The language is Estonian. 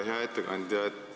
Hea ettekandja!